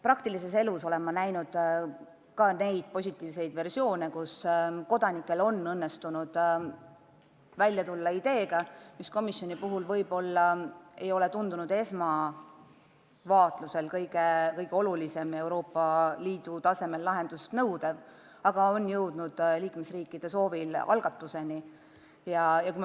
Praktilises elus olen ma näinud ka positiivseid juhtumeid, kus kodanikel on õnnestunud välja tulla ideega, mis pole komisjoni seisukohast esmavaatlusel Euroopa Liidu tasemel kuigi oluline ja lahendust nõudev olnud, aga liikmesriikide soovil on algatuseni jõutud.